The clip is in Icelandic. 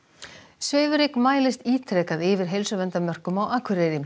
svifryk mælist ítrekað yfir heilsuverndarmörkum á Akureyri